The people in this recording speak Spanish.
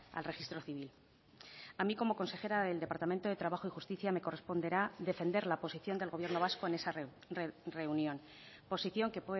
al registro civil a mí como consejera del departamento de trabajo y justicia me corresponderá defender la posición del gobierno vasco en esa reunión posición que